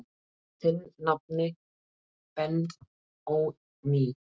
Þinn nafni Benóný.